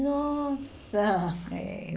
Nossa! Eh